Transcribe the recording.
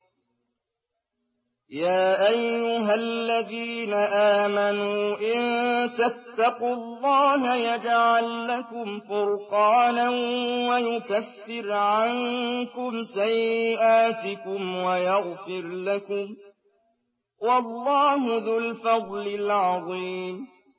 يَا أَيُّهَا الَّذِينَ آمَنُوا إِن تَتَّقُوا اللَّهَ يَجْعَل لَّكُمْ فُرْقَانًا وَيُكَفِّرْ عَنكُمْ سَيِّئَاتِكُمْ وَيَغْفِرْ لَكُمْ ۗ وَاللَّهُ ذُو الْفَضْلِ الْعَظِيمِ